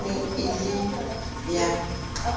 e ne e le ya